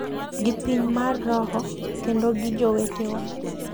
gi piny mar roho kendo gi jowetewa,